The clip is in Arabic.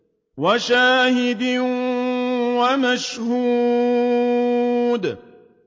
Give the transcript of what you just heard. وَشَاهِدٍ وَمَشْهُودٍ